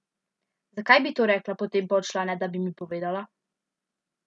Zakaj bi to rekla, potem pa odšla, ne da bi mi povedala?